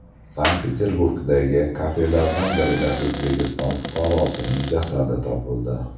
Sankt-Peterburgdagi kafelardan birida O‘zbekiston fuqarosining jasadi topildi.